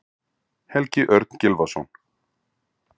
Helgi Örn Gylfason